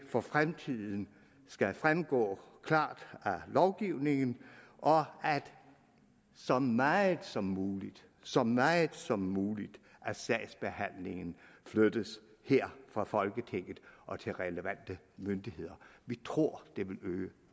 for fremtiden skal fremgå klart af lovgivningen og at så meget som muligt så meget som muligt af sagsbehandlingen flyttes her fra folketinget og til relevante myndigheder vi tror det vil øge